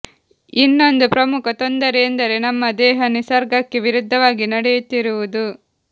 ಇನ್ನೊಂದು ಪ್ರಮುಖ ತೊಂದರೆ ಎಂದರೆ ನಮ್ಮ ದೇಹ ನಿಸರ್ಗಕ್ಕೆ ವಿರುದ್ಧವಾಗಿ ನಡೆಯುತ್ತಿರುವುದು